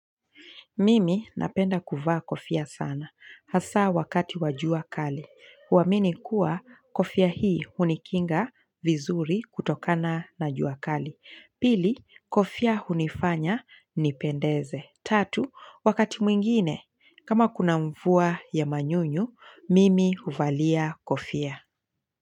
Mimi napenda kuvaa kofia sana, hasa wakati wa jua kali. Huamini kuwa kofia hii hunikinga vizuri kutokana na jua kali. Pili, kofia hunifanya nipendeze. Tatu, wakati mwingine, kama kuna mvua ya manyunyu, mimi uvalia kofia.